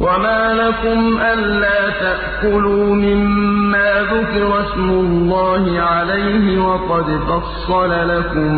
وَمَا لَكُمْ أَلَّا تَأْكُلُوا مِمَّا ذُكِرَ اسْمُ اللَّهِ عَلَيْهِ وَقَدْ فَصَّلَ لَكُم